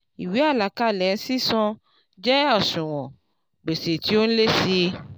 ìwé àlàkalẹ̀ sísan jẹ́ òṣùwọ̀n gbèsè tí ó n lé sí í